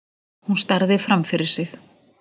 Hún starði framfyrir sig.